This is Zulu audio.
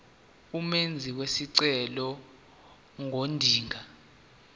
umenzi wesicelo ngodinga